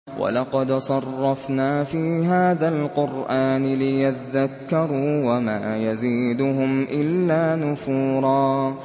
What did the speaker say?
وَلَقَدْ صَرَّفْنَا فِي هَٰذَا الْقُرْآنِ لِيَذَّكَّرُوا وَمَا يَزِيدُهُمْ إِلَّا نُفُورًا